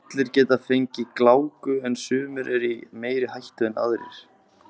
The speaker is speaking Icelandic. Allir geta fengið gláku en sumir eru í meiri hættu en aðrir.